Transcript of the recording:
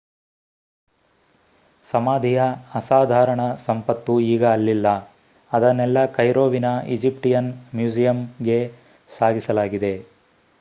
ಸಮಾಧಿಯ ಅಸಾಧಾರಣ ಸಂಪತ್ತು ಈಗ ಅಲ್ಲಿಲ್ಲ ಅದನ್ನೆಲ್ಲಾ ಕೈರೋವಿನ ಈಜಿಪ್ಟಿಯನ್ ಮ್ಯೂಜಿಯಂಗೆ ಸಾಗಿಸಲಾಗಿದೆ